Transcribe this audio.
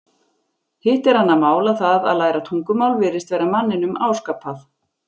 Hitt er annað mál að það að læra tungumál virðist vera manninum áskapað.